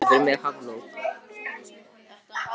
Kapitola, syngdu fyrir mig „Háflóð“.